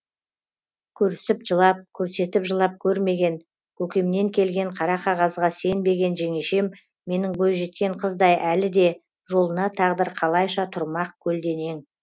көрісіп жылап көрсетіп жылап көрмеген көкемнен келген қара қағазға сенбеген жеңешем менің бойжеткен қыздай әлі де жолына тағдыр қалайша тұрмақ көлденең